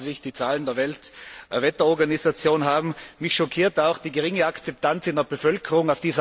Bitte schauen Sie sich die Zahlen der Weltwetterorganisation an. Mich schockiert auch die geringe Akzeptanz in der Bevölkerung.